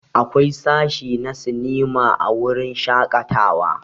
Akwai sashi na sinima a wurin shakatawa.